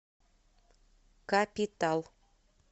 капитал